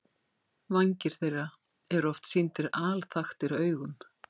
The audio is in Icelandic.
Vængir þeirra eru oft sýndir alþaktir augum.